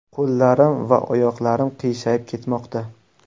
Qo‘llarim va oyoqlarim qiyshayib ketmoqda.